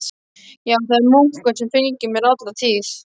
Já, það er munkur sem fylgir mér alla tíð.